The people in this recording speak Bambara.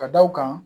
Ka da u kan